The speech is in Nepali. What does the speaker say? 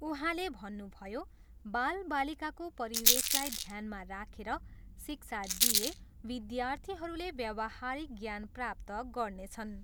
उहाँले भन्नुभयो, बालबालिकाको परिवेशलाई ध्यानमा राखेर शिक्षा दिइए विद्यार्थीहरूले व्यवहारिक ज्ञान प्राप्त गर्नेछन्।